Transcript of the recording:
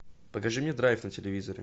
покажи мне драйв на телевизоре